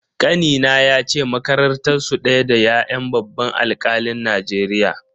Kanina yace makarantar su daya da ya'yan babban alkalin Najeriya.